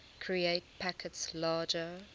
create packets larger